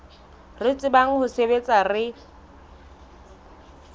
re tsebang ho sebetsa re